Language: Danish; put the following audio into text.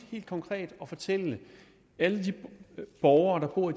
konkret og fortælle alle de borgere der bor